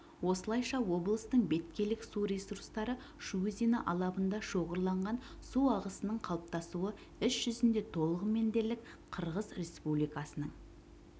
осылайша облыстың беткейлік су ресурстары шу өзені алабында шоғырланған су ағысының қалыптасуы іс жүзінде толығымен дерлік қырғыз республикасының